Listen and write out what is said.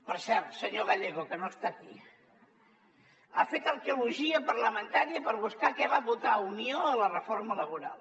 per cert senyor gallego que no està aquí ha fet arqueologia parlamentària per buscar què va votar unió a la reforma laboral